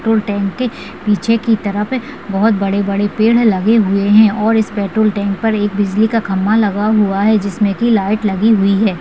Troll टैंटे पीछे की तरफ बहोत बड़े-बड़े पेढ़ लगे हुए हैं और इस पेट्रोल टैंक पर एक बिजली का खंबा लगा हुआ है जिसमें कि लाइट लगी हुई है।